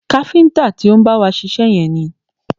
Káfíntà ti o má bá wa ṣiṣẹ́ yẹn ni.